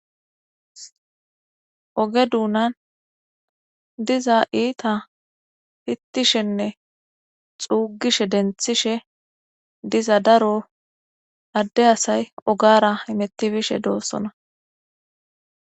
Oge duunan diza iita fittishenne xuugishe denthishe diza daro adde asay ogara imettibishe doossona.